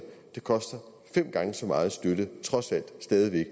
koster fem gange så meget at støtte trods alt stadig væk